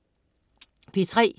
P3: